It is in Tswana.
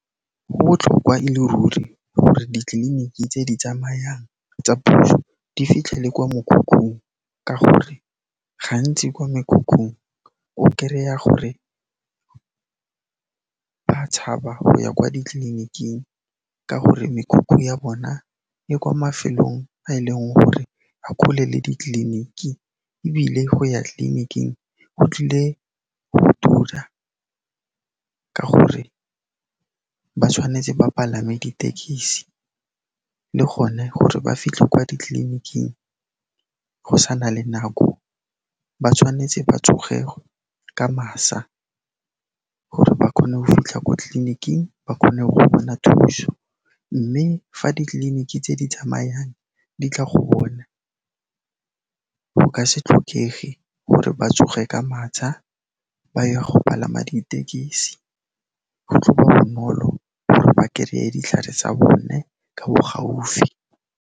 Go botlhokwa e le ruri gore ditleliniki tse di tsamayang tsa puso di fitlhele kwa mokhukhung ka gore gantsi kwa mekhukhung, o kereya gore ba tshaba go ya kwa ditleliniking ka gore mekhukhu ya bona e kwa mafelong a e leng gore a kgole le ditleliniki ebile go ya tleliniking go tlile go tura ka gore ba tshwanetse ba palame ditekesi le gone gore ba fitlhe kwa ditleliniking, go sa na le nako, ba tshwanetse ba tsoge ka masa gore ba kgone go fitlha ko tleliniking, ba kgone go bona thuso, mme fa ditleliniki tse di tsamayang di tla go bona, go ka se tlhokege gore ba tsoge ka matsha, ba ye go palama ditekesi. Go tlo ba bonolo gore ba kereye ditlhare tsa bone ka bo gaufi.